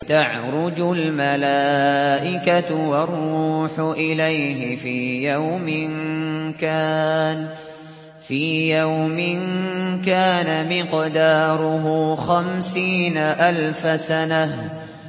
تَعْرُجُ الْمَلَائِكَةُ وَالرُّوحُ إِلَيْهِ فِي يَوْمٍ كَانَ مِقْدَارُهُ خَمْسِينَ أَلْفَ سَنَةٍ